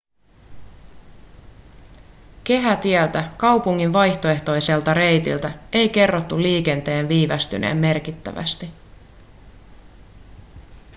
kehätieltä kaupungin vaihtoehtoiselta reitiltä ei kerrottu liikenteen viivästyneen merkittävästi